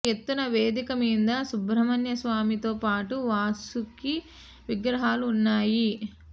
ఒక ఎత్తైన వేదిక మీద సుబ్రహ్మణ్య స్వామి తో పాటు వాసుకి విగ్రహాలు వున్నాయి